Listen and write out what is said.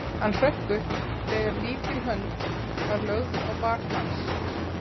Hann hrökk upp þegar lítil hönd var lögð á bak hans.